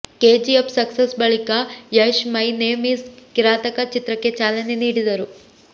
KGF success ಬಳಿಕ Yash my name is Kirataka ಚಿತ್ರಕ್ಕೆ ಚಾಲನೆ ನೀಡಿದರು